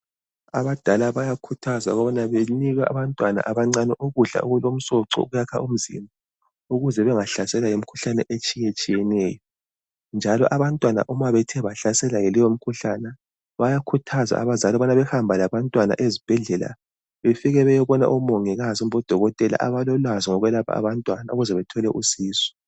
Abadala bayakhuthazwa ukubana banike abantwana abancane ukudla okulomsoco okuyakha umzimba ukuze bengahlaselwa yimikhuhlane etshiyetshiyeneyo njalo abantwana uma bethe bahlaselwa yileyo mkhuhlana bayakhuthaza abazali kubana bahambe labantwana ezibhedlela befike beyobona umongikazi kumbe odokotela abalolwazi ngokwelapha abantwana ukuze bethole usizo.